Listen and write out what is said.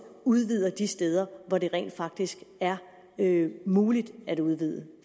udvider de steder hvor det rent faktisk er muligt at udvide